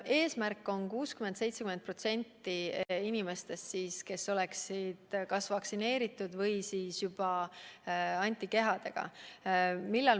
Eesmärk on, et 60–70% inimestest oleksid kas vaktsineeritud või antikehadega.